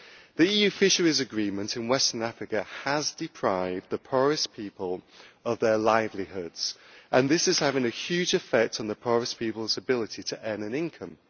The EU fisheries agreement in Western Africa has deprived the poorest people of their livelihoods, and this is having a huge effect on the poorest people's ability to earn an income.